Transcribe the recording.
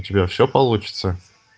у тебя всё получится